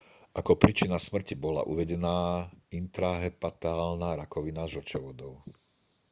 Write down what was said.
ako príčina smrti bola uvedená intrahepatálna rakovina žlčovodov